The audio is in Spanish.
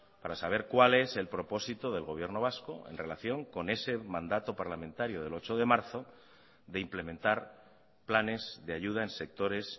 para saber cuál es el propósito del gobierno vasco en relación con ese mandato parlamentario del ocho de marzo de implementar planes de ayuda en sectores